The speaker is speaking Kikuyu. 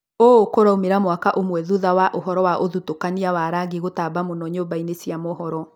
Ũũ kũraumĩra mwaka ũmwe thutha wa ũhoro wa ũthutũkania wa rangi gũtamba mũno nyũmba-inĩ cia mohoro